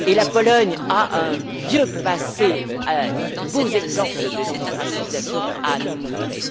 La Pologne a un vieux passé, de beaux exemples de démocratisation à nous montrer.